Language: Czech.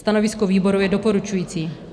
Stanovisko výboru je doporučující.